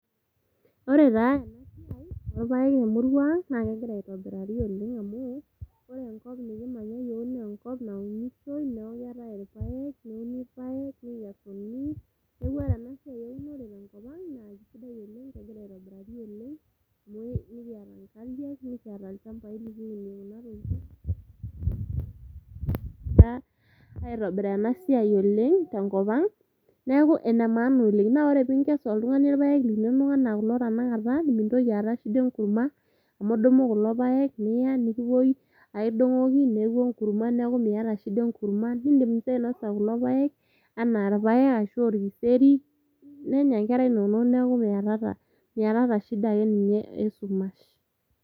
Ore taa ena siai orpaek temurua ang naa kegira aitobirari oleng amu ore enkop nikimanya iyiok nenkop naunishoi neeku keetae irpaek neuni irpaek nikesuni neku ore ena siai eunore tenkop ang naa kisidai oleng kegira aitobirari oleng amu ikiyata inkariak nikiyata ilchambai likinuie kuna tokiting ta aitobiraa ena siai oleng tenkop ang beeku ene maana oleng naa ore pinkesu oltung'ani irpaek linonok anaa kulo tanakata mintoki aata shida enkurma amu idumu kulo paek niya nikipuoi aidong'oki neeku enkurma neeku miyata shida enkurma nindim sii ainosa kulo paek anaa irpaek arashu orkiseri nenya inkera inonok neeku miyatata, miyatata shida ake ninye esumash.